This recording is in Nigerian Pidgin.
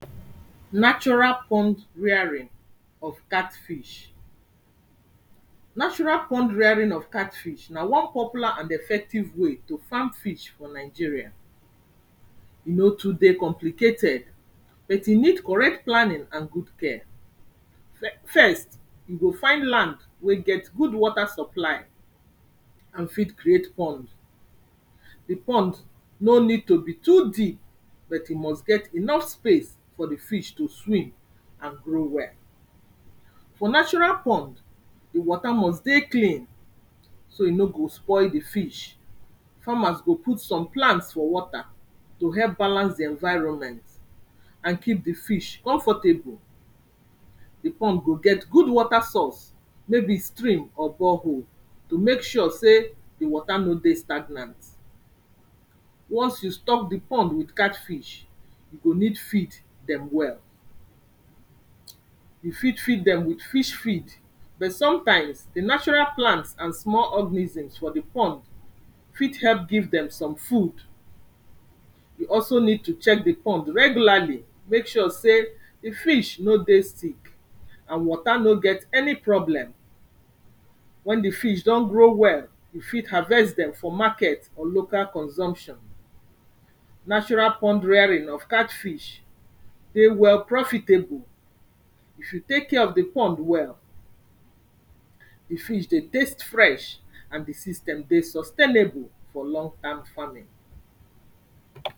Natural pond rearing of catfish. Natural pond rearing of catfish na one popular and effective way to farm fish for Nigeria, e no too dey complicated but e need correct planning and good care. Fe, first, you go find land wey get good water supply and fit create pond. Di pond no need to be too deep, but e must get enough space for di fish to swim and grow well. For natural pond, di wata must dey clean, so e no go spoil di fish, farmer go put some plants for water to help balance di environment and keep di fish comfortable. Di pond go get good water source wey be stream or bore hole to mek sure sey di water no dey stagnant. Once you stock di pond with catfish, you go need feed dem well. You fit feed dem with fish feed, but sometimes, di natural plants and small organisms for di pond fit help give dem some food. You also need to check di pond regularly, mek sure sey di fish no dey stick and water no get any problem. When di fish don grow well you fit harvest dem for market or local consumption. Natural pond rearing of catfish dey well profitable if you tek care of di pond well. Di fish dey taste fresh and di system dey sustainable for long term farming.